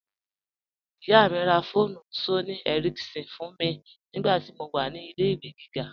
Iyá mi rá fóònù Sónìì Éríkínsọn fún mi nigbàtí mó wà ní ilẹ̀-ìwé gígá.